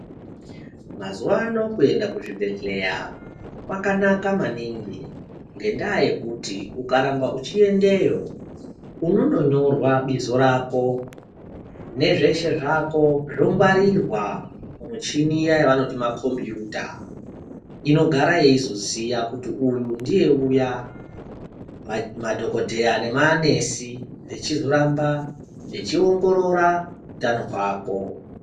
Mazuwano kuenda kuzvibhehlera kwakanaka maningi ngendaa yekuti ukaramba uchiendeyo unondonyorwa bizo rakone nezveshe zvako zvongwarirwa mumichini iya inozwi makombuta inogara yeizoziya kuti uyu ndiye uya ,madhokodheya nemanesi vechizoramba vechiongorora utano hwako.